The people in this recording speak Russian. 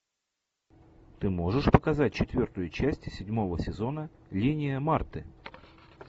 ты можешь показать четвертую часть седьмого сезона линия марты